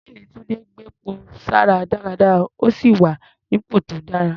Ṣséèní Túńdé gbepo sára dáadáa, ó sì wà nípò tó dára.